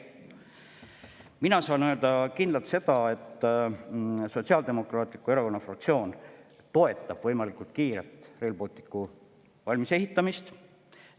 Mina saan kindlalt öelda seda, et Sotsiaaldemokraatliku Erakonna fraktsioon toetab võimalikult kiiret Rail Balticu valmisehitamist.